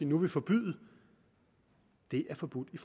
nu vil forbyde er forbudt i